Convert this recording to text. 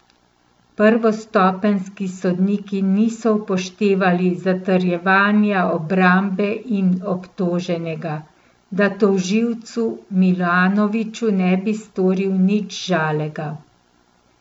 Prvostopenjski sodniki niso upoštevali zatrjevanja obrambe in obtoženega, da tožilcu Milanoviču ne bi storil nič žalega.